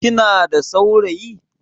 Kina da saurayi?